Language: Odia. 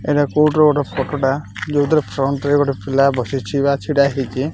ଏଇଟା କୋର୍ଟ ର ଗୋଟେ ଫଟୋ ଟା ଯୋଉଥିରେ ଫ୍ରଣ୍ଟ ରେ ଗୋଟେ ପିଲା ବସିଚି ବା ଛିଡ଼ାହେଇଚି ।